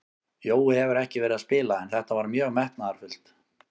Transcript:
Jói hefur ekki verið að spila en þetta var mjög metnaðarfullt.